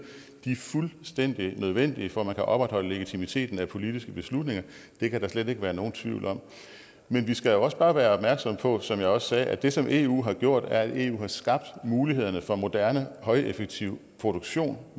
de er fuldstændig nødvendige for at man kan opretholde legitimiteten af politiske beslutninger det kan der slet ikke være nogen tvivl om men vi skal jo også bare være opmærksomme på som jeg også sagde at det som eu har gjort er at eu har skabt mulighederne for moderne højeffektiv produktion